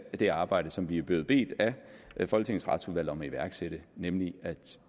det arbejde som vi er blevet bedt af folketingets retsudvalg om at iværksætte nemlig at